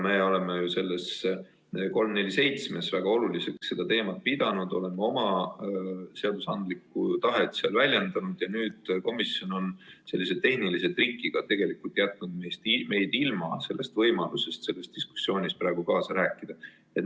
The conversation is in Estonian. Me oleme eelnõus 347 seda teemat väga oluliseks pidanud, oleme oma seadusandlikku tahet seal väljendanud ja nüüd komisjon on sellise tehnilise trikiga tegelikult jätnud meid ilma võimalusest selles diskussioonis praegu kaasa rääkida.